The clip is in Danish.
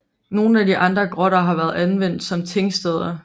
Nogle af de andre grotter har været anvendt som tingsteder